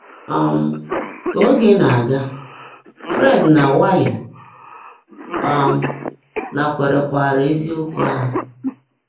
um Kà óge ná-ágá, Fréd nà Wàlly um nákwèrékwaárá ézíokwú áhụ́.